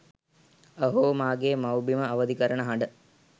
අහෝ මාගේ මවුබිම අවධි කරන හඬ